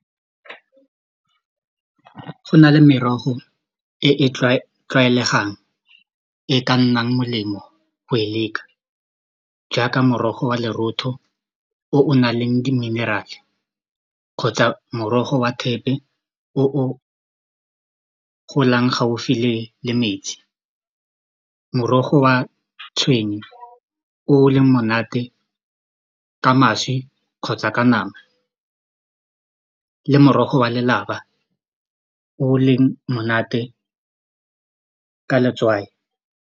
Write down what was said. Go na le merogo e e tlwaelegang e ka nnang molemo go e leka jaaka morogo wa leretho o o nang le diminerale kgotsa morogo wa thepe o o golang gaufi le metsi morogo wa tshwenye o leng monate ka mašwi kgotsa ka nama le morogo wa lelapa o leng monate ka letswai.